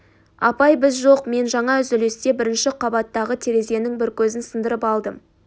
апай біз жоқ мен жаңа үзілісте бірінші қабаттағы терезенің бір көзін сындырып алдым